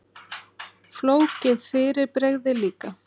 Flókið fyrirbrigði líka.